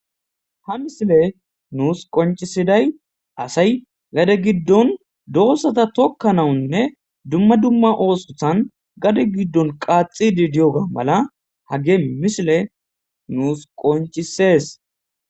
Ha missiley nusi qonccisiday asayi gadde giddon doozata tokanawnne duma duma ossotan gadde giddon qaxxidi diyoga mala hagge missileyi nusi qonccises.